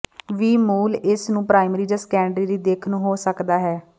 ਵੀ ਮੂਲ ਇਸ ਨੂੰ ਪ੍ਰਾਇਮਰੀ ਜ ਸੈਕੰਡਰੀ ਦੀ ਦਿੱਖ ਨੂੰ ਹੋ ਸਕਦਾ ਹੈ